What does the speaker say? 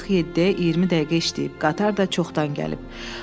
Artıq 7-yə 20 dəqiqə işləyib, qatar da çoxdan gəlib.